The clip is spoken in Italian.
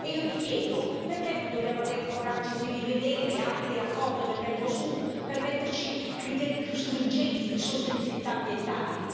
E io mi chiedo, perché non dobbiamo avere il coraggio di rivedere anche l'accordo del Mercosur per metterci criteri più stringenti di sostenibilità ambientale?